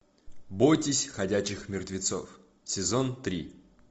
бойтесь ходячих мертвецов сезон три